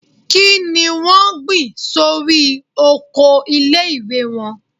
Kí ni wọ́n gbìn sórí oko ilé - ìwé wọn?